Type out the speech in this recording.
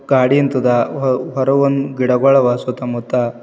ಗಾಡಿ ನಿಂತದ ಹೊರ-ಹೊರಗೊಂದು ಗಿಡಗಳವ ಸುತ್ತಮುತ್ತ.